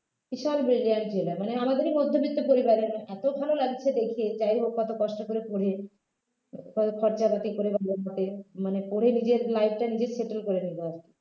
বিশাল brilliant ছেলে মানে আমাদেরই মধ্যবিত্ত পরিবারের এত ভাল লাগছে দেখে যাইহোক অত কষ্ট করে পড়ে খ খরচাপাতি করে বলতে মানে পড়ে নিজের life টা নিজে settle করে নিলো